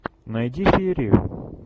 найди серию